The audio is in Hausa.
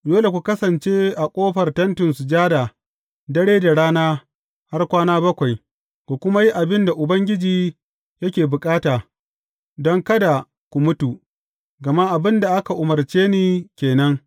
Dole ku kasance a ƙofar Tentin Sujada dare da rana har kwana bakwai, ku kuma yi abin da Ubangiji yake bukata, don kada ku mutu; gama abin da aka umarce ni ke nan.